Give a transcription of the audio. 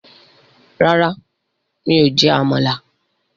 Rárá, mi ò jẹ́ Àmàlà